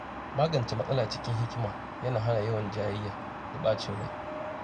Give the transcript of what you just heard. Magance matsala cikin hikima yana hana yawan jayayya da ɓacin rai.